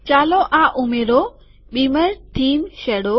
ચાલો આ ઉમેરો બીમર થીમ શેડો